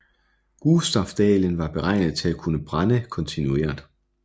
Gustaf Dalén og var beregnet til at kunne brænde kontinuert